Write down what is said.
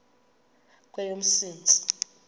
kweyomntsintsi